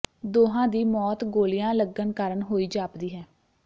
ਦੋਹਾਂ ਦੀ ਮੌਤ ਗੋਲੀਆਂ ਲੱਗਣ ਕਾਰਨ ਹੋਈ ਜਾਪਦੀ ਹੈ